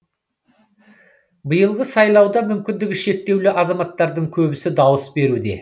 биылғы сайлауда мүмкіндігі шектеулі азаматтардың көбісі дауыс беруде